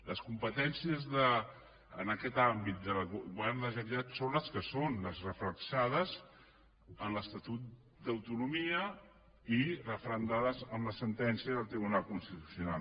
les competències en aquest àmbit del govern de la generalitat són les que són les reflectides en l’estatut d’autonomia i referendades amb la sentència del tribunal constitucional